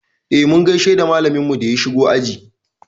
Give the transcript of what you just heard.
E, mun gaishe da malaminmu da ya shigo aji.